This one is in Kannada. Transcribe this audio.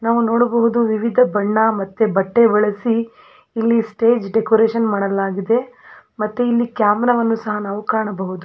ನಾವು ನೋಡಬಹುದು ವಿವಿಧ ಬಣ್ಣ ಮತ್ತೆ ಬಟ್ಟೆ ಬಳಸಿ ಇಲ್ಲಿ ಸ್ಟೇಜ್ ಡೆಕೋರೇಷನ್ ಮಾಡಲಾಗಿದೆ ಮತ್ತೆ ಇಲ್ಲಿ ಕ್ಯಾಮರಾವನ್ನು ಸಹ ನಾವು ಕಾಣಬಹುದು --